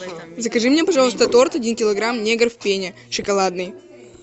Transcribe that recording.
закажи мне пожалуйста торт один килограмм негр в пене шоколадный